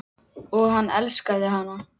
Og hann elskaði hana.